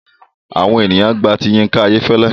Àwọn ènìyàn gba ti Yinka Ayefele.